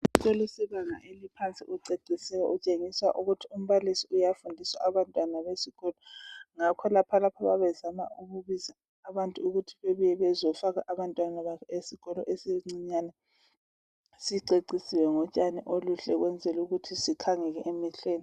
isikolo sebanga eliphansi kuceciswe kutshengisela ukuthi umbalisi uyafundisa abantwana besikolo ngakholokhu lapha bayabebezaa ukuhi abantu bebuye bezofaka abantwana babo esikolo sabo esincane sicecisiwe ngotshani obuhle ukwenzela ukuthi sikhangeleke emehlweni